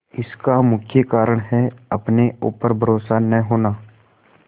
इसका मुख्य कारण है अपने ऊपर भरोसा न होना